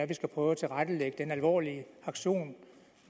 vi skal prøve at tilrettelægge den alvorlige aktion